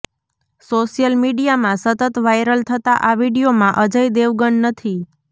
social મીડિયામાં સતત viral થતા આ વીડિયોમાં અજય દેવગન નથી